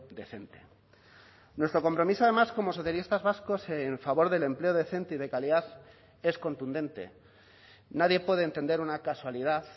decente nuestro compromiso además como socialistas vascos en favor del empleo decente y de calidad es contundente nadie puede entender una casualidad